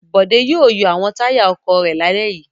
Bòdé yóò yọ àwọn táyà ọkọ̀ rẹ̀ lálẹ́ yìí.